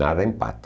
Nada empata.